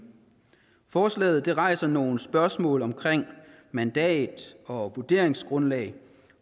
forslaget rejser nogle spørgsmål om mandat og vurderingsgrundlag